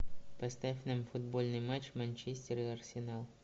поставь нам футбольный матч манчестер и арсенал